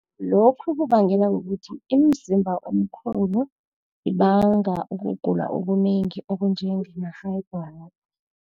Lokhu kubangelwa kukuthi imizimba omkhulu, ibanga ukugula okunengi, okunjenge